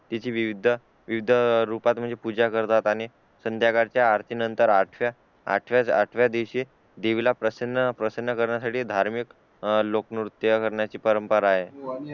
तिची विविध रूपात पूजा करतात आणि संध्याकाळ च्या आरती नंतर आठ च्या आठव्या दिवशी देवीला प्रसन्न करण्यासाठी धार्मिक लोकनृत्य करण्याची परंपरा आहे